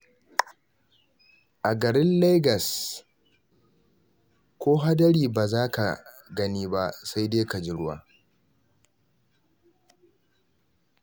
A garin Leagas ko hadari ba za ka gani ba, sai dai ka ji ruwa.